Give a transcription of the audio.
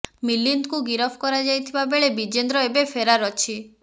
ମିଲିନ୍ଦକୁ ଗିରଫ କରାଯାଇଥିବା ବେଳେ ବ୍ରିଜେନ୍ଦ୍ର ଏବେ ଫେରାର୍ ଅଛି